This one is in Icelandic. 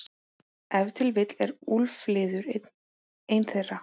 Ef til vill er úlfliður ein þeirra.